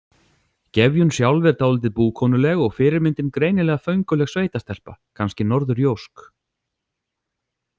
Gefjun sjálf er dálítið búkonuleg og fyrirmyndin greinilega fönguleg sveitastelpa, kannski norðurjósk.